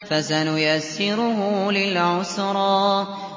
فَسَنُيَسِّرُهُ لِلْعُسْرَىٰ